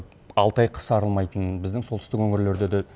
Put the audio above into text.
алты ай қыс арылмайтын біздің солтүстік өңірлерде де